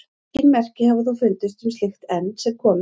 Engin merki hafa þó fundist um slíkt enn sem komið er.